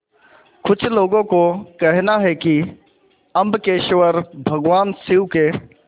कुछ लोगों को कहना है कि अम्बकेश्वर भगवान शिव के